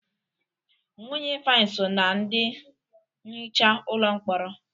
Nwunye Ifeanyị so ná ndị nhicha ụlọ mkpọrọ.